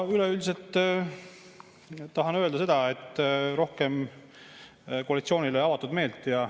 Üleüldiselt tahan koalitsioonile rohkem avatud meelt.